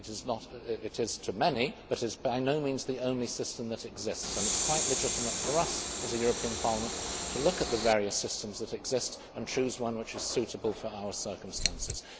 It is to many, but it is by no means the only system that exists, and it is quite legitimate for us, as a European Parliament, to look at the various systems that exist and choose one which is suitable for our circumstances.